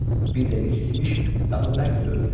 Bir dəqiqə keçmiş qapı bərk döyüldü.